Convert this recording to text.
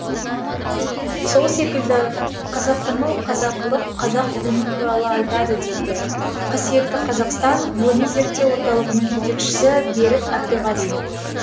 сол секілді қазақтану қазақылық қазақ ұғымы туралы айтады дейді қасиетті қазақстан ғылыми зерттеу орталығының жетекшісі берік әбдіғали